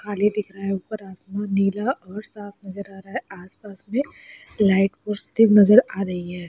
पानी दिख रहा है ऊपर आसमान नीला और साफ नजर आ रहा है आसपास में यह नजर आ रही है।